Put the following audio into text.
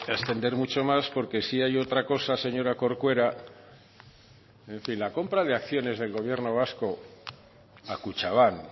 extender mucho más porque si hay otra cosa señora corcuera en fin la compra de acciones del gobierno vasco a kutxabank